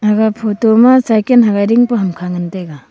aga photo ma cycan hagai tingpa hamkha ngan taiga.